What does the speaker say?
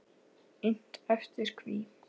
Innt eftir: Hví?